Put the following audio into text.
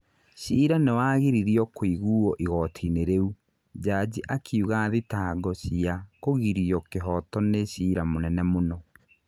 Cira niwagiririo kuiguo igootini riu, jaji akiuga thitango ria kugiria kihoto ni cira munene muno.